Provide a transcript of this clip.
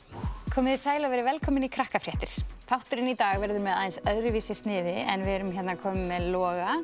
komið þið sæl og verið velkomin í þátturinn í dag verður með aðeins öðruvísi sniði en við erum hérna komin með Loga